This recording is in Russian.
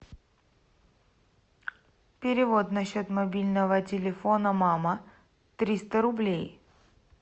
перевод на счет мобильного телефона мама триста рублей